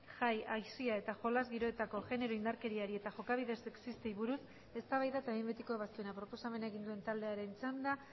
jai aisia eta jolas giroetako genero indarkeriari eta jokabide sexistei buruz eztabaida eta behin betiko ebazpena proposamena egin duen taldearen txanda